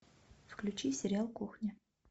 включи сериал кухня